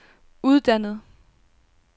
uddannet